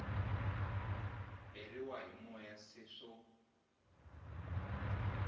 beriwa hi moya se swo